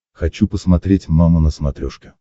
хочу посмотреть мама на смотрешке